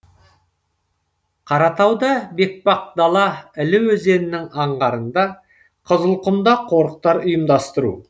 қаратауда бетпақдала іле өзенінің аңғарында қызылқұмда қорықтар ұйымдастыру